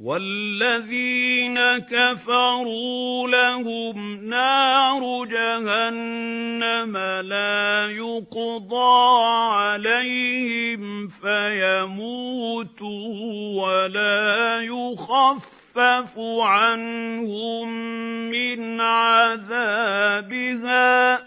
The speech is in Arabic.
وَالَّذِينَ كَفَرُوا لَهُمْ نَارُ جَهَنَّمَ لَا يُقْضَىٰ عَلَيْهِمْ فَيَمُوتُوا وَلَا يُخَفَّفُ عَنْهُم مِّنْ عَذَابِهَا ۚ